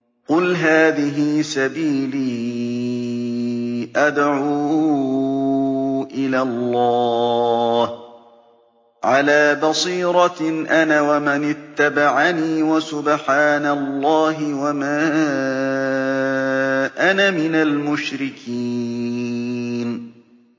قُلْ هَٰذِهِ سَبِيلِي أَدْعُو إِلَى اللَّهِ ۚ عَلَىٰ بَصِيرَةٍ أَنَا وَمَنِ اتَّبَعَنِي ۖ وَسُبْحَانَ اللَّهِ وَمَا أَنَا مِنَ الْمُشْرِكِينَ